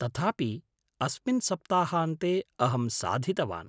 तथापि, अस्मिन् सप्ताहान्ते अहं साधितवान्।